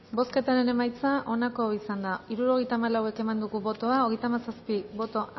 bozketaren emaitza onako izan da hirurogeita hamalau eman dugu bozka hogeita hamazazpi boto